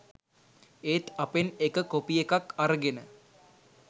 ඒත් අපෙන් එක කොපි එකක් අරගෙන